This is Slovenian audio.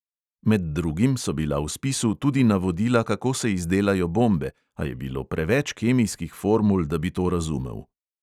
Med drugim so bila v spisu tudi navodila, kako se izdelajo bombe, a je bilo preveč kemijskih formul, da bi to razumel.